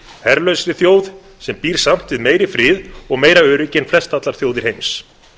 herlausri þjóð sem býr samt við meiri frið og meira öryggi en flestallar þjóðir heims